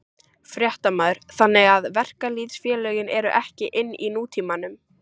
Fréttamaður: Þannig að verkalýðsfélögin eru ekki inn í nútímanum?